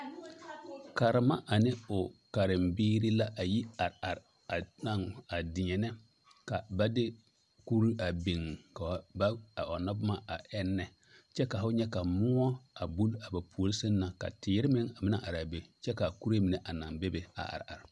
Karema ane o karembiiri la a yi are are a taao a deɛnɛ ka ba de kuru a beŋ ka ba a ɔŋnɔ boma a eŋnɛ kyɛ ka fo nyɛ ka moɔ a buli ba puore seŋ na kyɛ ka teere meŋ a meŋ naŋ araa be kyɛ kaa kuree mine a naŋ bebe a are are.